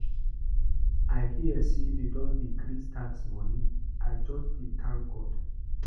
I hear say dey don decrease tax money. I just dey thank God.